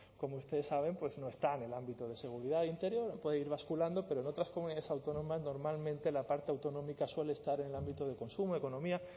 como ustedes saben pues no está en el ámbito de seguridad e interior puede ir basculando pero en otras comunidades autónomas normalmente la parte autonómica suele estar en el ámbito de consumo economía